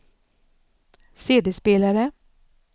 CD-spelare